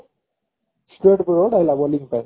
ଆଇଲା bowling ପାଇଁ